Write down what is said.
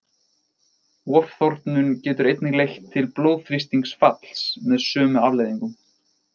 Ofþornun getur einnig leitt til blóðþrýstingsfalls með sömu afleiðingum.